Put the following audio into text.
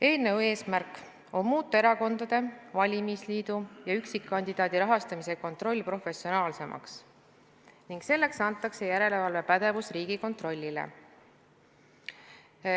Eelnõu eesmärk on muuta erakondade, valimisliitude ja üksikkandidaatide rahastamise kontroll professionaalsemaks ning selleks antakse järelevalvepädevus Riigikontrollile.